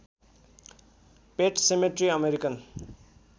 पेट cemetery American